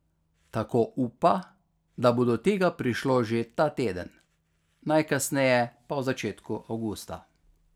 Tako upa, da bo do tega prišlo že ta teden, najkasneje pa v začetku avgusta.